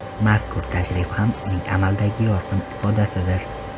Mazkur tashrif ham uning amaldagi yorqin ifodasidir.